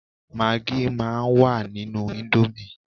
Magí máa ń wà nínú íńdómì.